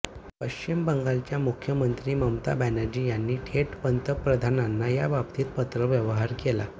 पश्चिम बंगालच्या मुख्यमंत्री ममता बनर्जी यांनी थेट पंतप्रधानांना या बाबतीत पत्रव्यवहार केला